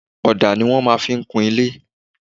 Ọ̀dà ni wọ́n máa ń fi ń kun ilé.